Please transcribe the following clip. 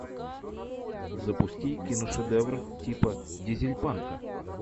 запусти киношедевр типа дизель панка